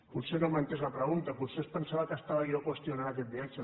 potser no m’ha entès la pregunta potser es pensava que estava jo qüestionant aquest viatge